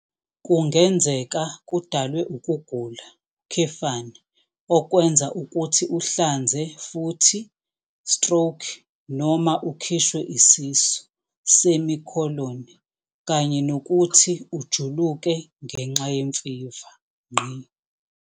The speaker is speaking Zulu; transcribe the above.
Kungenzeka kudalwe ukugula, okwenza ukuthi uhlanze futhi stroke, noma ukhishwe isisu, kanye nokuthi ujuluke ngenxa yemfiva.